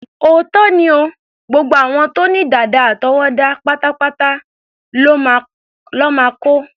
Òótọ́ ni o, gbogbo àwọn tó ní dàdà àtọwọ́dá pátá lọ́ máa kó.